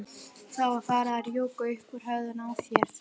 Það var farið að rjúka upp úr höfðinu á þér.